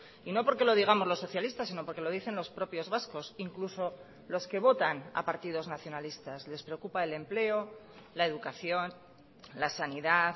y no porque lo digamos los socialistas sino porque lo dicen los propios vascos incluso los que votan a partidos nacionalistas les preocupa el empleo la educación la sanidad